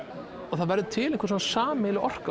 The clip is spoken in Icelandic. það verður til einhver sameiginleg orka